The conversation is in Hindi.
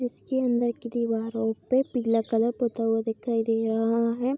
इसकी अंदर की दीवारों पे पीला कलर पोता हुआ दिखाई दे रहा है।